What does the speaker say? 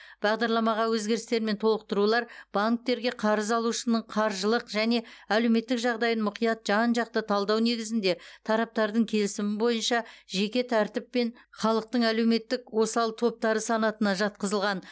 бағдарламаға өзгерістер мен толықтырулар банктерге қарыз алушының қаржылық және әлеуметтік жағдайын мұқият жан жақты талдау негізінде тараптардың келісімі бойынша жеке тәртіппен халықтың әлеуметтік осал топтары санатына жатқызылған